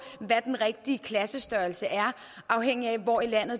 hvad den rigtige klassestørrelse er afhængigt af hvor i landet